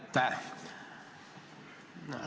Aitäh!